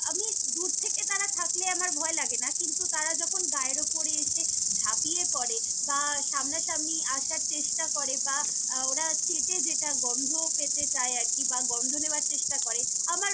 আমি দূর থেকে তারা থাকলে আমার ভয় লাগেনা, কিন্তু তারা যখন গায়ের উপরে এসে ঝাঁপিয়ে পড়ে বা সামনা সামনি আসার চেষ্টা করে বা আহ ওরা চেটে যেটা গন্ধ পেতে চায় আরকি বা গন্ধ নেওয়ার চেষ্টা করে আমার।